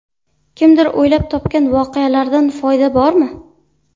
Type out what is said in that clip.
Kimdir o‘ylab topgan voqealaridan foyda bormi?.